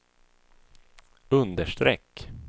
understreck